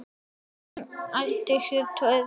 Hún átti sér tvær rætur.